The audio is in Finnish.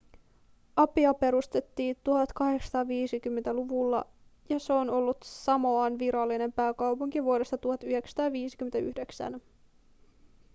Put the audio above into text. apia perustettiin 1850-luvulla ja se on ollut samoan virallinen pääkaupunki vuodesta 1959